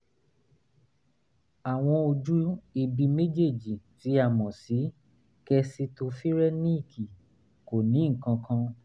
àwọn ojú ibi méjèèjì tí a mọ̀ sí kositofirẹ́níìkì kò ní nǹkan kan